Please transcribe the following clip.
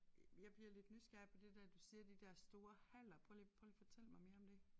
Øh jeg bliver lidt nysgerrig på det der du siger de der store haller prøv lige prøv lige at fortælle mig mere om det